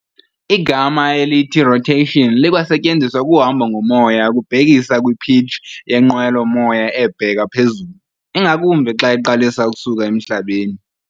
igama elithi rotation likwasetyenziswa kuhabo ngomoya ukubhekisa kwipitch yenqwelo-moya ebheka phezulu, ingakumbi xa iqalisa ukusuka emhlabeni.